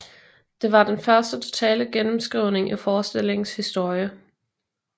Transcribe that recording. Det var den første totale gennemskrivning i forestillingens historie